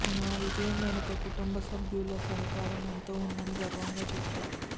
నా విజయం వెనుక కుటుంబసభ్యుల సహకారం ఎంతో ఉందని గర్వంగా చెబుతా